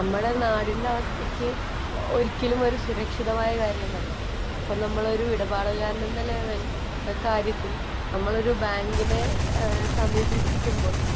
നമ്മുടെ നാടിന്റെ അവസ്ഥയ്ക്ക് ഒരിക്കലും ഒരു സുരക്ഷിതമായ കാര്യമല്ല. അപ്പോള്‍ നമ്മള്‍ ഒരു ഇടപാടുകാരന്‍ എന്ന നിലയില്‍, കാര്യത്തില്‍ നമ്മള്‍ ഒരു ബാങ്കിനെ സമീപിക്കുമ്പോള്‍